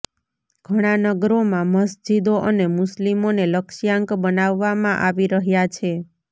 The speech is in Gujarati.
ઘણા નગરોમાં મસ્જિદો અને મુસ્લિમોને લક્ષ્યાંક બનાવવામાં આવી રહ્યા છે